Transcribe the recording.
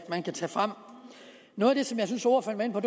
man kan tage frem noget af det som jeg synes ordføreren var